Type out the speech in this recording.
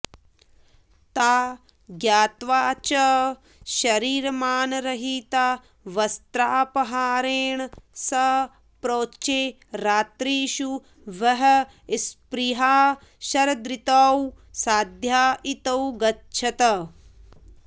ता ज्ञात्वा च शरीरमानरहिता वस्त्रापहारेण स प्रोचे रात्रिषु वः स्पृहाः शरदृतौ साध्या इतो गच्छत